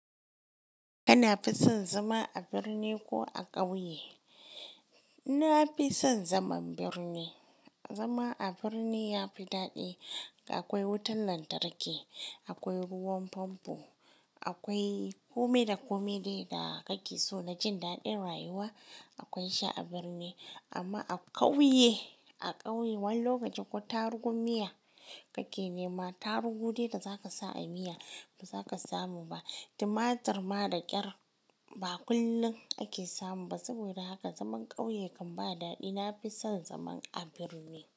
Kana fi son zama a birni ko a ƙauye? Na fi son zaman birni. Zama a birni ya fi daɗi. Akwai wutan lantarki, akwai ruwan famfo, akwai komai da komai dai da kake so na jin daɗin rayuwa akwai shi a birni. Amma a ƙauye, a ƙauye wani lokaci ko tarugun miya kake nema, tarugu dai da zaka sa a miya ba za ka samu ba. Tumatur ma da ƙyar ba kullum ake samu ba. Saboda haka zaman ƙauye kan ba daɗi. Na fi son zaman a birni.